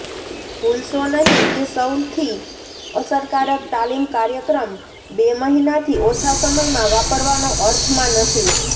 ભૂલશો નહીં કે સૌથી અસરકારક તાલીમ કાર્યક્રમ બે મહિનાથી ઓછા સમયમાં વાપરવાનો અર્થમાં નથી